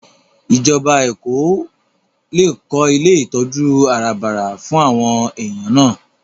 Ìjọba Èkó lè kó ilé ìtọ́jú àràbarà fún àwọn èèyàn náà